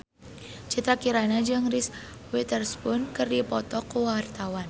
Citra Kirana jeung Reese Witherspoon keur dipoto ku wartawan